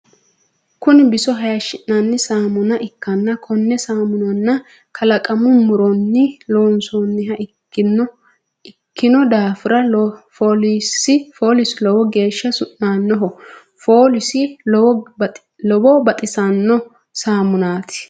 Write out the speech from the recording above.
Kunni biso hayishi'nanni saamunna ikanna konne saamunna kalaqamu muronni loonsoonniha ikino daafira foolesi lowo geesha su'naanoho. Foolisi lowo baxisano saamunnaati.